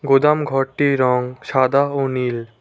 গোদামঘরটির রং সাদা ও নীল।